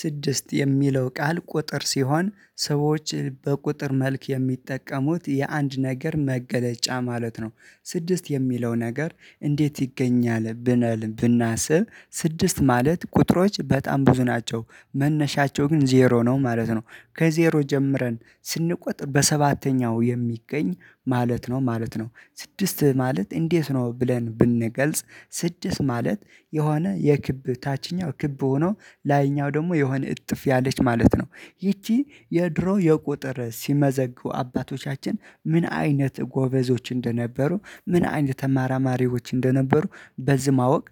ስድስት የሚለው ቃል ቁጥር ሲሆን ሰዎች በቁጥር መልክ የሚጠቀሙት የአንድ ነገር መገለጫ ማለት ነው። ስድስት የሚለው ነገር እንዴት ይገኛል ብለን ብናስብ ስድስት ማለት ቁጥሮች በጣም ብዙ ናቸው። መነሻቸው ግን ዜሮ ነው ማለት ነው። ከዜሮ ጀምረን ስንቆጥር በሰባተኛው የሚገኝ ማለት ነው ማለት ነው። ስድስት ማለት እንዴት ነው ብለን ብንገልጽ? ስድስት ማለት የሆነ የክብ ታችኛው ክብ ሆኖ ላይኛው ደግሞ የሆነ እጥፍ ያለች ማለት ነው። ይቺ የድሮ የቁጥር ሲመዘግቡ አባቶቻችን ምን አይነት ጎበዞች እንደነበሩ ምን አይነት ተመራማሪዎች እንደነበሩ በዚህ ማወቅ